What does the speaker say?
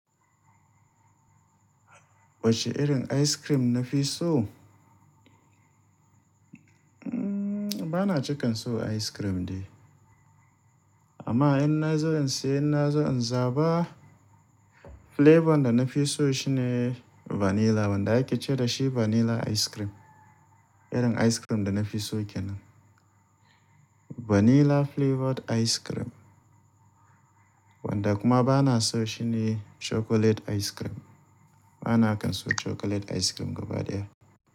Wace irin ice cream na fi so? Mmm bana cika son ice cream dai. Amma in na za in siya, in na zo in zaba flavor da na fi so shine vanilla. Wanda ake ce dashi vanilla ice cream. Irin ice cream da na fi so kenan. Vanilla flavored ice cream. Wanda kuma bana son shi ne chocolate ice cream. Bana kan son chocolate ice cream gaba daya.